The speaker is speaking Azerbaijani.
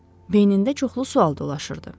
Beynində çoxlu sual dolaşırdı.